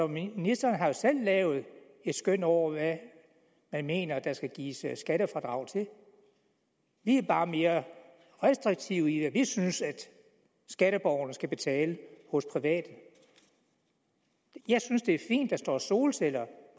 ministeren har jo selv lavet et skøn over hvad han mener der skal gives skattefradrag til vi er bare mere restriktive med det vi synes skatteborgerne skal betale hos private jeg synes det er fint at der står solceller